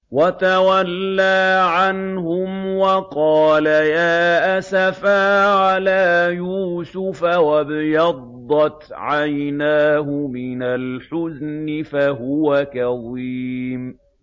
وَتَوَلَّىٰ عَنْهُمْ وَقَالَ يَا أَسَفَىٰ عَلَىٰ يُوسُفَ وَابْيَضَّتْ عَيْنَاهُ مِنَ الْحُزْنِ فَهُوَ كَظِيمٌ